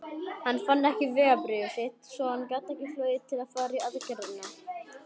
Hann fann ekki vegabréfið sitt svo hann gat ekki flogið til að fara í aðgerðina.